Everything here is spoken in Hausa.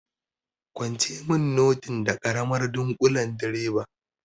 Kwance mun notin da karamar ɗunkulen direba!